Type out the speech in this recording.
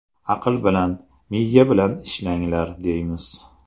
Aql bilan, miya bilan ishlanglar!”, deymiz.